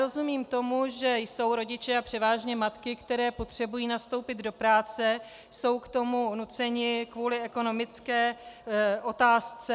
Rozumím tomu, že jsou rodiče, a převážně matky, které potřebují nastoupit do práce, jsou k tomu nuceni kvůli ekonomické otázce.